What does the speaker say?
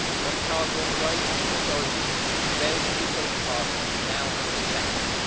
Once cars are on the road, national authorities who failed to do so in the past, now have to check them.